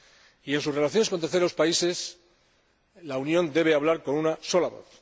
Y en sus relaciones con terceros países, la Unión debe hablar con una sola voz.